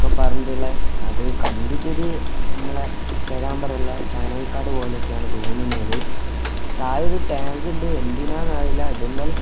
ന്നൊക്കെ പറഞ്ഞിട്ടിള്ള അത് കണ്ടിട്ടൊരു ഇമ്മളെ പേരാമ്പ്ര ഇള്ള ജാനകിക്കാട് പോലെയൊക്കെയാണ് തോന്നുന്നത് താഴെ ഒരു ടാങ്ക് ഇണ്ട് എന്തിനാന്നറിയില്ല ഇതെന്തായാലും സ് --